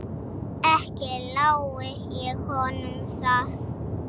Ekki lái ég honum það.